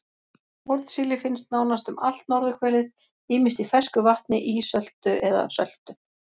Hornsíli finnst nánast um allt norðurhvelið ýmist í fersku vatni, ísöltu eða söltu.